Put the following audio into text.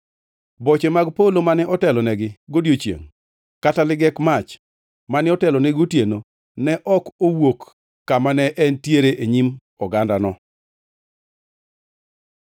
Boche mag polo mane otelonegi godiechiengʼ kata ligek mach mane otelonegi gotieno ne ok owuok kama ne entiere e nyim ogandano.